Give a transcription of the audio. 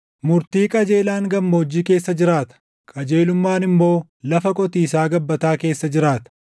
Murtii qajeelaan gammoojjii keessa jiraata; qajeelummaan immoo lafa qotiisaa gabbataa keessa jiraata.